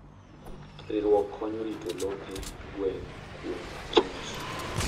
Riwruok konyo rito lope gweng' kuom monj.